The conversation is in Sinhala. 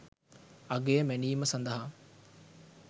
අගය මැනීම සඳහා